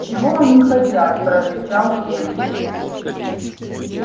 чего они хотят прорычал венус